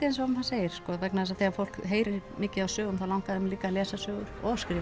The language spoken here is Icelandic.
eins og maður segir vegna þess að þegar fólk heyrir mikið af sögum þá langar það líka að lesa sögur